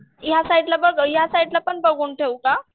या साईडला बघ या साईडला पण बघून ठेऊ का?